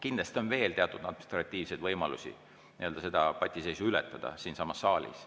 Kindlasti on veel teatud administratiivseid võimalusi seda patiseisu ületada siinsamas saalis.